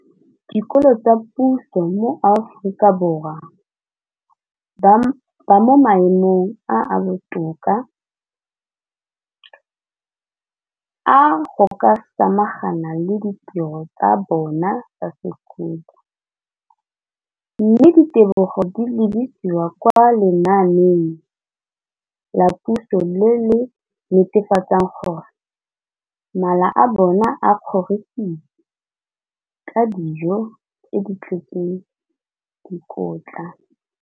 Dikolo tsa puso mo Aforika Borwa ba mo maemong a a botoka a go ka samagana le ditiro tsa bona tsa sekolo, mme ditebogo di lebisiwa kwa lenaaneng la puso le le netefatsang gore mala a bona a kgorisitswe ka dijo tse di tletseng dikotla.